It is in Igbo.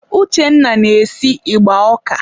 Uchenna na-esi ịgba ọka.